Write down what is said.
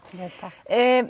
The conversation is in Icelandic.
takk